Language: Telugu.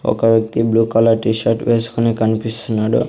ఒక వ్యక్తి బ్లూ కలర్ టీ షర్ట్ వేస్కొని కన్పిస్తున్నాడు.